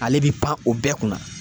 Ale bi pan o bɛɛ kunna.